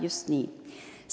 Just nii!